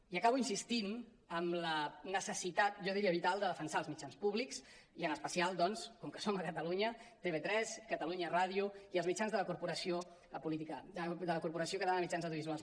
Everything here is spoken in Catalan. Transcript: i acabo insistint en la necessitat jo diria vital de defensar els mitjans públics i en especial doncs com que som a catalunya tv3 catalunya ràdio i els mitjans de la corporació catalana de mitjans audiovisuals